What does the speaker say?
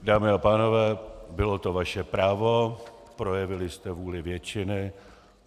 Dámy a pánové, bylo to vaše právo, projevili jste vůli většiny.